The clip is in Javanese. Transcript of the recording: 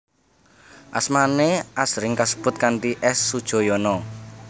Asmane asring kasebut kanthi S Sudjojono